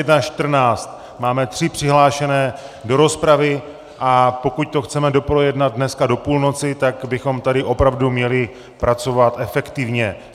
Je 21.14, máme tři přihlášené do rozpravy, a pokud to chceme doprojednat dneska do půlnoci, tak bychom tady opravdu měli pracovat efektivně.